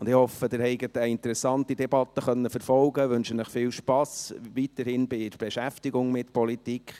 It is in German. Ich hoffe, Sie konnten eine interessante Debatte verfolgen, und wünsche Ihnen weiterhin viel Spass bei der Beschäftigung mit Politik.